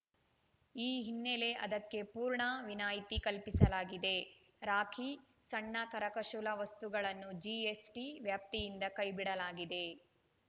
ಈ ಹಿನ್ನೆಲೆ ಅದಕ್ಕೆ ಪೂರ್ಣ ವಿನಾಯ್ತಿ ಕಲ್ಪಿಸಲಾಗಿದೆ ರಾಖಿ ಸಣ್ಣ ಕರಕುಶಲ ವಸ್ತುಗಳನ್ನೂ ಜಿಎಸ್‌ಟಿ ವ್ಯಾಪ್ತಿಯಿಂದ ಕೈಬಿಡಲಾಗಿದೆ